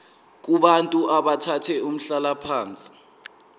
kubantu abathathe umhlalaphansi